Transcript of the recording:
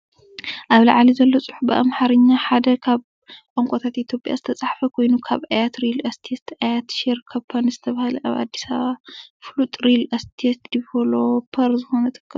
ኣብ ላዕሊ ዘሎ ጽሑፍ ብኣምሓርኛ፡ ሓደ ካብ ቋንቋታት ኢትዮጵያ እተፃሓፈ ኮይኑ፣ ካብ ኣያት ሪል እስቴት / ኣያት ሼር ካምፓኒ ዝተባህለ ኣብ ኣዲስ ኣበባ ፍሉጥ ሪል እስቴት ዲቨሎፐር ዝኾነ ትካል እዩ።